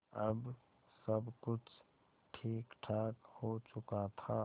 अब सब कुछ ठीकठाक हो चुका था